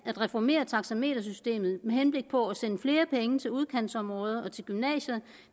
at reformere taxametersystemet med henblik på at sende flere penge til udkantsområder og til gymnasier